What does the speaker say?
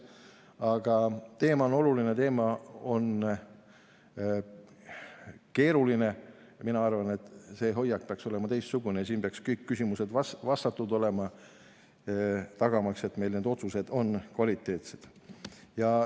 Aga teema on oluline, teema on keeruline ja mina arvan, et see hoiak peaks olema teistsugune ja kõik küsimused peaksid vastatud olema, tagamaks, et need otsused on kvaliteetsed.